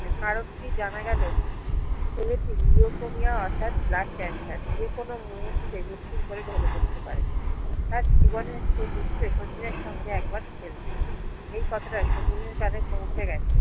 কারণ টি জানা গেলো ছেলেটি নিওফোমিয়া অর্থাৎ blood কেন্সার যে কোনো মুহূর্ত মৃত্যুর কলে ঢলে পরতে পারে তার জীবনে শেষ ইচ্ছে শচীন এর সঙ্গে একবার খেলবে এই কথাটা শচীন এর কানে পৌছে গেছে